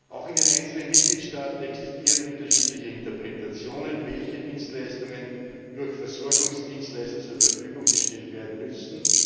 Auch in den einzelnen Mitgliedstaaten existieren unterschiedliche Interpretationen, welche Dienstleistungen durch Versorgungsdienstleister zur Verfügung gestellt werden müssen.